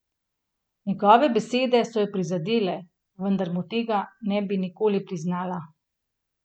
Njegove besede so jo prizadele, vendar mu tega ne bi nikoli priznala.